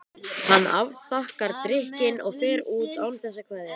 Hann afþakkar drykkinn og fer út án þess að kveðja.